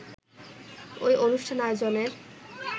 ওই অনুষ্ঠান আয়োজনের